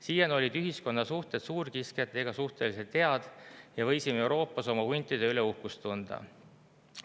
Siiani olid ühiskonna suhted suurkiskjatega suhteliselt head ja võisime Euroopas oma huntide üle uhkust tunda.